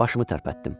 Başımı tərpətdim.